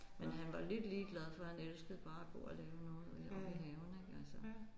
Men han var lidt ligeglad for han elskede bare at gå og lave noget omme i haven ik altså